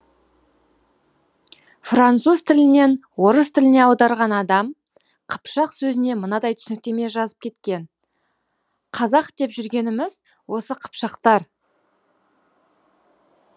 француз тілінен орыс тіліне аударған адам қыпшақ сөзіне мынадай түсініктеме жазып кеткен қазақ деп жүргеніміз осы қыпшақтар